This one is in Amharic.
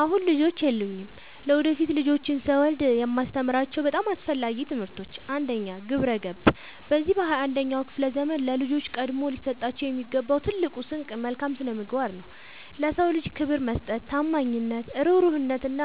አሁን ልጆች የሉኝም። ለወደፊት ልጆችን ስወልድ የማስተምራቸው በጣም አስፈላጊ ትምህርቶች፦ 1. ግብረ-ገብ፦ በዚህ በ 21ኛው ክፍለ ዘመን ለልጆች ቀድሞ ሊሰጣቸው የሚገባው ትልቁ ስንቅ መልካም ስነምግባር ነው። ለ ሰው ልጅ ክብር መስጠት፣ ታማኝነት፣ እሩህሩህነት፣ እና